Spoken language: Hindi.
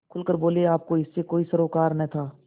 खुल कर बोलेआपको इससे कोई सरोकार न था